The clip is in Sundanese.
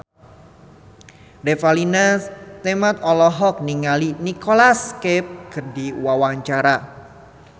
Revalina S. Temat olohok ningali Nicholas Cafe keur diwawancara